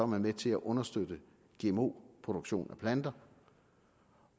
med til at understøtte gmo produktion af planter